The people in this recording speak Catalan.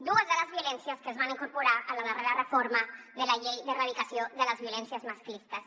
dues de les violències que es van incorporar en la darrera reforma de la llei d’erradicació de les violències masclistes